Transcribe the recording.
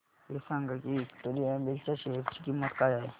हे सांगा की विक्टोरिया मिल्स च्या शेअर ची किंमत काय आहे